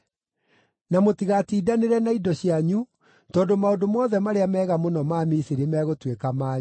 Na mũtigatindanĩre na indo cianyu tondũ maũndũ mothe marĩa mega mũno ma Misiri megũtuĩka manyu.’ ”